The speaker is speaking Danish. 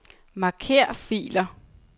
Marker filer.